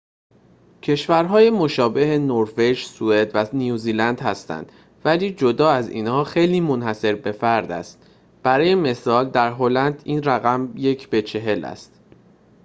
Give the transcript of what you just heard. کشورهای مشابه نروژ، سوئد و نیوزلند هستند، ولی جدا از اینها خیلی منحصربه‌فرد است برای مثال در هلند این رقم یک به چهل است